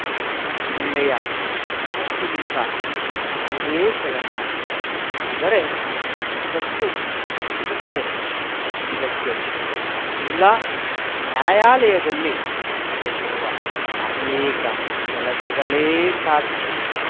ಒಳ್ಳೆಯ ಮನಸ್ಸಿನಿಂದ ಯಾವುದೇ ಕೆಲಸ ಮಾಡಿದರೆ ಯಶಸ್ಸು ಸಿಗುತ್ತದೆ ಇದಕ್ಕೆ ಜಿಲ್ಲಾ ನ್ಯಾಯಾಲಯದಲ್ಲಿ ನಡೆದಿರುವ ಅನೇಕ ಕೆಲಸಗಳೇ ಸಾಕ್ಷಿ